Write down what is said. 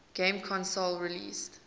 game console released